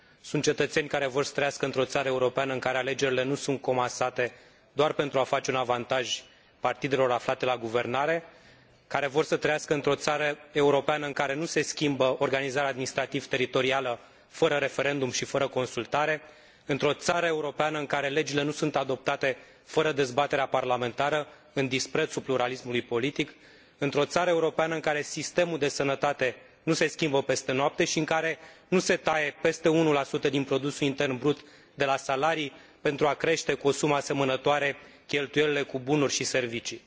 Sunt cetățeni care vor să trăiască într o țară europeană în care alegerile nu sunt comasate doar pentru a face un avantaj partidelor aflate la guvernare, care vor să trăiască într o țară europeană în care nu se schimbă organizarea administrativ teritorială fără referendum și fără consultare, într o țară europeană în care legile nu sunt adoptate fără dezbaterea parlamentară, în disprețul pluralismului politic, într o țară europeană în care sistemul de sănătate nu se schimbă peste noapte și în care nu se taie peste 1 din produsul intern brut de la salarii pentru a crește cu o sumă asemănătoare cheltuielile cu bunuri și servicii.